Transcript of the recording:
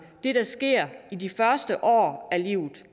det der sker i de første år af livet